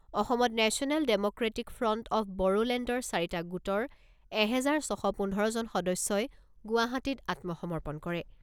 অসমত national democratic front of বড়োলেণ্ডৰ চাৰিটা গোটৰ এহেজাৰ ছশ পোন্ধৰজন সদস্যই গুৱাহাটীত আত্মসমৰ্পণ কৰে।